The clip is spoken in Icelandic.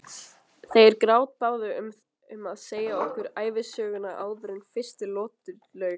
Þeir grátbáðu um að segja okkur ævisöguna áður en fyrstu lotu lauk.